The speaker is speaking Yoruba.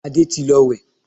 Adé ti lọ wẹ̀